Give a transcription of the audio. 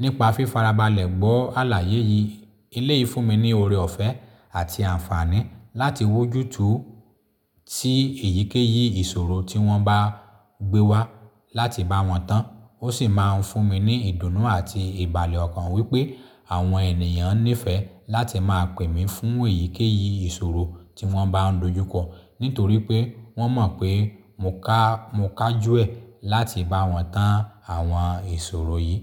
Nípa fífarabalẹ̀ gbọ́ àlàyé yìí, eleyìí fún mi ní ọrẹ ọ̀fẹ́ àti àǹfààní láti wójú tú sí èyíkéyìí ìṣòro tí wọ́n bá gbé wá láti bá wọn tán. Ó sì máa ń fún mi ní ìdùnnú àti ìbàlẹ̀ ọkàn wípé àwọn ènìyàn nífẹ̀ẹ́ láti máa pè mí fún èyíkéyìí ìṣòro tí wọ́n bá ń dojú kọ, nítorí pé wọ́n mọ̀ pé mo ká, mo kájú ẹ láti bá wọn tán àwọn ìṣòro yìí.